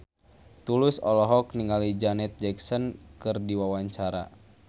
Tulus olohok ningali Janet Jackson keur diwawancara